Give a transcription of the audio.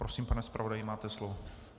Prosím, pane zpravodaji, máte slovo.